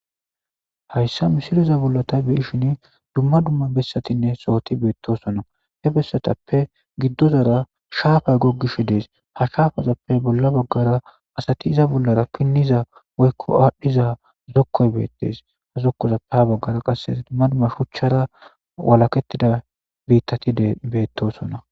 hayssa misiliza bollata beishin dumma dumma bessatinne sooti beettosona he bessatappe giddozara shaafay goggish dees ha shaafazappe bolla baggara asati iza bollara pinniza woykko aadhdhiza zokkoy beettes ha zokkozappe ha baggara qasse dumma dumma shuchchara walakettida biittati beettosona